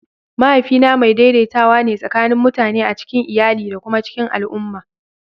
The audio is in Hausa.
Mahaifina mai daidaitawa ne tsakanin mutane a cikin iyali da kuma cikin al'umma.